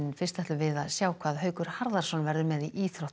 ætlum við að sjá hvað Haukur Harðarson verður með í íþróttum